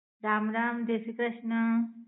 રામ રામ, જય શ્રી કૃષ્ણ